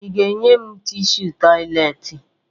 Ị ga-enye m tishu tọyịleetị?